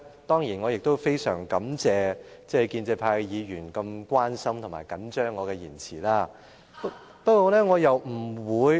當然，我亦很感謝建制派議員這麼關心及緊張我的言詞。